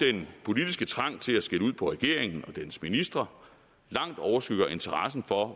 den politiske trang til at skælde ud på regeringen og dens ministre langt overskygger interessen for